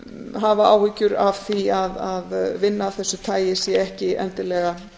hafa áhyggjur af því að vinna af þessu tagi sé ekki endilega